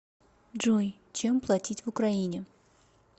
джой чем платить в украине